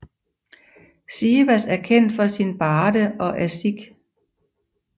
Sivas er kendt for sine barde og aşık